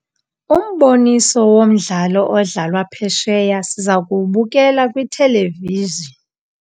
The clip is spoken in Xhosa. Umboniso womdlalo odlalwa phesheya siza kuwubukela kwithelevizhini.